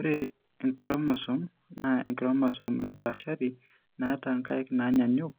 Ore isochromosome naa enchromosome napaashari naata inkaik naanyaanyuk